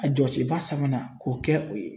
A jɔsenba sa sabanan k'o kɛ o ye